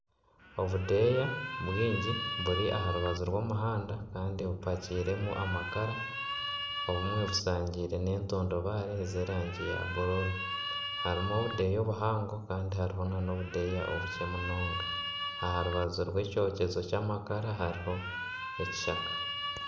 Obudeeya bwingi buri aha rubaju rw'omuhanda kandi bumpakiremu amakara obumwe bushangirwe n'entundubaare z'erangi ya bururu, harimu obudeeya obuhango kandi harimu n'obudeeya obukye munonga aha rubaju rw'ekyokyezo ky'amakara hariho ekishaka.